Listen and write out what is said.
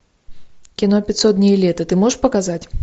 кино пятьсот дней лета ты можешь показать